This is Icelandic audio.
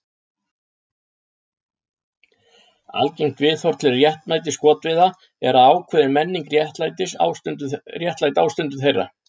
Algengt viðhorf til réttmæti skotveiða er að ákveðin menning réttlæti ástundun þeirra.